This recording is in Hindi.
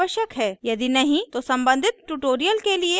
यदि नहीं तो सम्बंधित ट्यूटोरियल के लिए हमारी वेबसाइट पर जाएँ